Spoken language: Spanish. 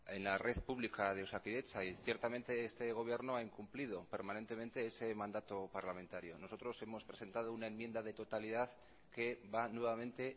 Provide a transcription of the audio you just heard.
en la red pública de osakidetza y ciertamente este gobierno ha incumplido permanentemente ese mandato parlamentario nosotros hemos presentado una enmienda de totalidad que va nuevamente